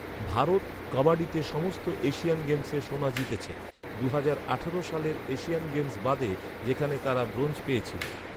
ভারত কাবাডিতে সমস্ত এশিয়ান গেমসে সোনা জিতেছে, দুহাজার আঠারো সালের এশিয়ান গেমস বাদে, যেখানে তারা ব্রোঞ্জ পেয়েছিল।